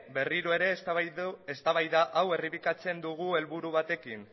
berriro ere eztabaida hau errepikatzen dugu helburu batekin